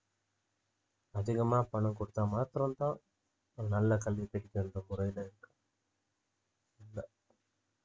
அதிகமா பணம் கொடுத்தா மாத்திரம்தான் நல்ல கல்வி இருக்கு இல்லை